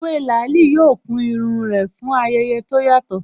Ewé làálí yóò kun irun rẹ̀ fún ayẹyẹ tó yàtọ̀